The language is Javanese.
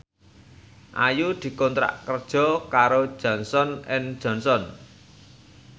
Ayu dikontrak kerja karo Johnson and Johnson